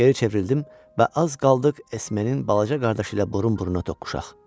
Geri çevrildim və az qaldıq Esmenin balaca qardaşı ilə burun-buruna toqquşaq.